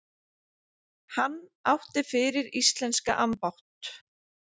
Hann átti fyrir íslenska ambátt